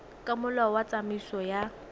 ka molao wa tsamaiso ya